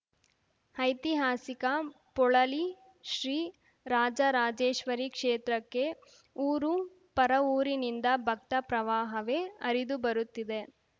ಐತಿಹಾಸಿಕ ಪೊಳಲಿ ಶ್ರೀ ರಾಜರಾಜೇಶ್ವರೀ ಕ್ಷೇತ್ರಕ್ಕೆ ಊರು ಪರವೂರಿನಿಂದ ಭಕ್ತ ಪ್ರವಾಹವೇ ಹರಿದುಬರುತ್ತಿದೆ